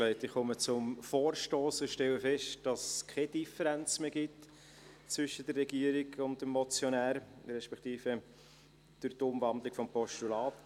Ich komme zum Vorstoss und stelle fest, dass es durch die Umwandlung in ein Postulat zwischen der Regierung und dem Motionär keine Differenz mehr gibt.